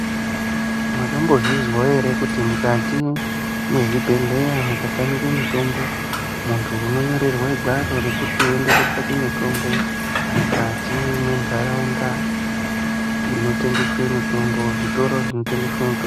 Mwakambozvizwawo kuti mukati mwezvibhedhlera mukatamike mutombo, muntu unonyorerwe gwaro rekuti uende kotsvake mutombo mukati mwendaraunda inotengeswe mitombo zvitoro zvinotengeswe mitombo.